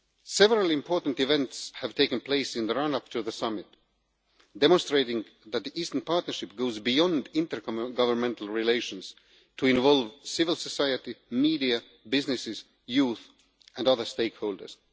Several important events have taken place in the run up to the summit, demonstrating that the Eastern Partnership goes beyond inter governmental relations to involve civil society, media, businesses, youth and other stakeholders.